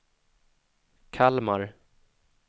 Kalmar